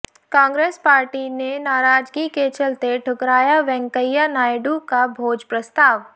Congress party ने नाराजगी के चलते ठुकराया वेंकैया नायडू का भोज प्रस्ताव